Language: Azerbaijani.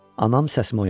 Anam səsimə oyandı.